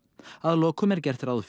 að lokum er gert ráð